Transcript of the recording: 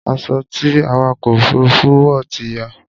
Aṣọ ti awakọ̀ òfurufú wọ̀ ti ya